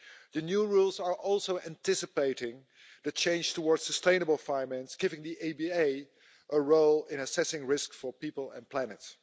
The new rules also anticipate the change towards sustainable finance, giving the EBA a role in assessing risk for people and planet.